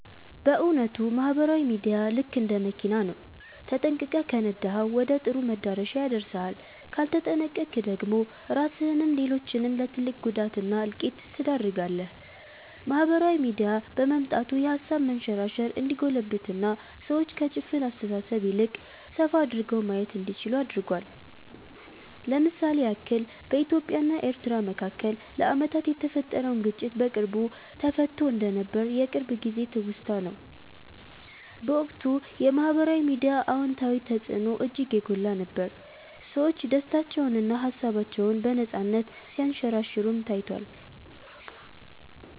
በ እዉነቱ ማህበራዊ ሚዲያ ልክ እንደ መኪና ነው፤ ተጠንቅቀህ ከነዳኀው ወደ ጥሩ መዳረሻ ያደርስሃል ካልተጠነቅቀክ ደግሞ ራስህንም ሌሎችንም ለ ትልቅ ጉዳት እና እልቂት ትዳርጋለህ። ማህበራዊ ሚዲያ በመምጣቱ የሃሳብ መንሸራሸር እንዲጎለብትና ሰዎች ከ ጭፍን አስተሳሰብ ይልቅ ሰፋ አድርገው ማየት እንዲችሉ አድርጓል። ለ ምሳሌ ያክል በኢትዮጵያ እና ኤርትራ መካከል ለአመታት የተፈጠረውን ግጭት በቅርቡ ተፈትቶ እንደነበር የቅርብ ጊዜ ትውስታ ነው። በወቅቱ የ ማህበራዊ ሚዲያ አወንታዊ ተፅዕኖ እጅግ የጎላ ነበር፤ ሰዎች ደስታቸውንና ሃሳባቸውን በነፃነት ሲያንሸራሽሩም ታይቷል።